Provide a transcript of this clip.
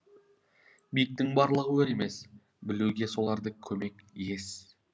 биіктің барлығы өр емес білуге соларды көмек ес